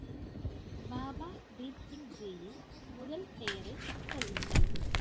பாபா தீப் சிங் ஜியின் முதல் பெயரை சொல்லுங்கள்.